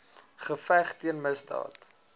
geveg teen misdaad